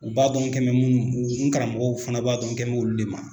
U b'a dɔn an kɛ munnu ma n karamɔgɔw fɛnɛ b'a dɔn an kɛn b'olu de ma